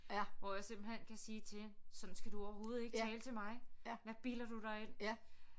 Hvor jeg simpelthen kan sige til hende sådan skal du overhovedet ikke tale til mig hvad bilder du dig ind